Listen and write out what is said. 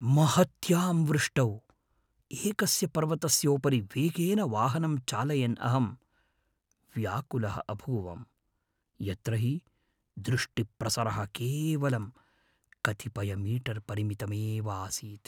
महत्यां वृष्टौ एकस्य पर्वतस्योपरि वेगेन वाहनं चालयन् अहं व्याकुलः अभूवम्, यत्र हि दृष्टिप्रसरः केवलं कतिपयमीटर्परिमितमेवासीत्।